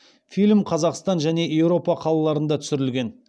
фильм қазақстан және еуропа қалаларында түсірілген